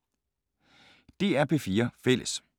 DR P4 Fælles